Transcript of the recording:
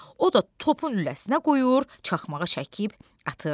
O da topun lüləsinə qoyur, çaxmağı çəkib atır.